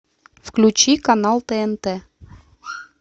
включи канал тнт